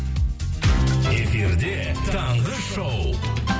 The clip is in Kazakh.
эфирде таңғы шоу